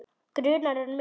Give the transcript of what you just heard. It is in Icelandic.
Grunar hann mig?